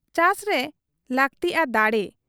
ᱪᱟᱥᱨᱮ ᱞᱟᱹᱠᱛᱤᱜ ᱟ ᱫᱟᱲᱮ ᱾